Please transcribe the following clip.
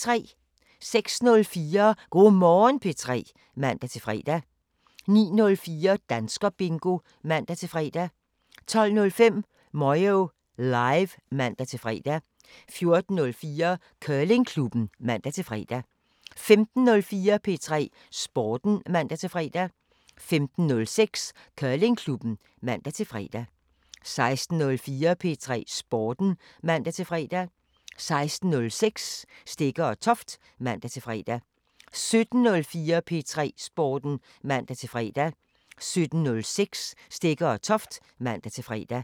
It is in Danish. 06:04: Go' Morgen P3 (man-fre) 09:04: Danskerbingo (man-fre) 12:05: Moyo Live (man-fre) 14:04: Curlingklubben (man-fre) 15:04: P3 Sporten (man-fre) 15:06: Curlingklubben (man-fre) 16:04: P3 Sporten (man-fre) 16:06: Stegger & Toft (man-fre) 17:04: P3 Sporten (man-fre) 17:06: Stegger & Toft (man-fre)